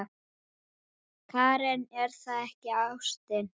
Karen: Er það ekki ástin?